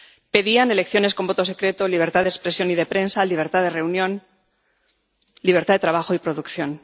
Pedían elecciones con voto secreto, libertad de expresión y de prensa, libertad de reunión, libertad de trabajo y producción.